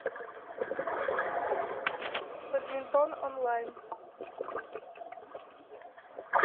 бадминтон онлайн